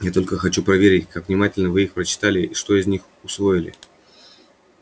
я только хочу проверить как внимательно вы их прочитали и что из них усвоили